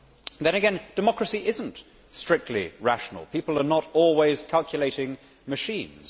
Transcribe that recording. Then again, democracy is not strictly rational. People are not always calculating machines.